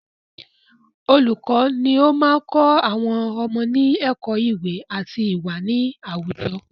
Olùkọ ni o máa n kọ́ àwọn ọmọ ní ẹ̀kọ́ iwe ati iwa ni àwùjọ